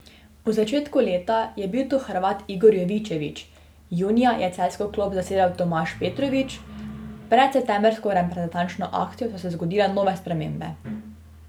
V začetku leta je bil to Hrvat Igor Jovičević, junija je celjsko klop zasedel Tomaž Petrovič, pred septembrsko reprezentančno akcijo so se zgodile nove spremembe.